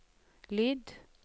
lyd